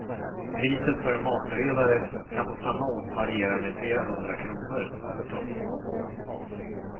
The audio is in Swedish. Priset för en matberedare kan på samma ort variera med flera hundra kronor. punkt